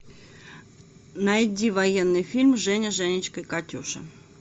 найди военный фильм женя женечка катюша